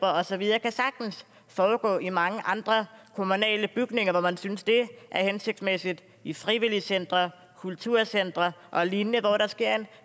og så videre kan sagtens foregå i mange andre kommunale bygninger hvor man synes det er hensigtsmæssigt for i frivilligcentre kulturcentre og lignende hvor der sker en